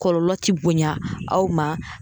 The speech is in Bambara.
Kɔlɔlɔ ti bonya aw ma